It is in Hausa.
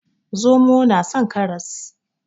Zomo nason karas